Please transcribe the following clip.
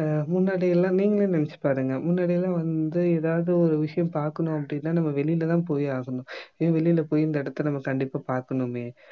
அஹ் முன்னாடி எல்லாமே நீங்களே நினைச்சுப் பாருங்க முன்னாடி எல்லாம் வந்து எதாவது ஒரு விஷயம் பார்க்கணும் அப்படின்னா நம்ம வெளியில தான் போய் ஆகணும் இதே வெளியில போயி இந்த இடத்தை நம்ம கண்டிப்பா பார்க்கணுமே